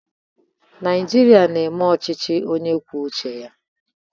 Naịjirịa na-eme ọchịchị onye kwuo uche ya.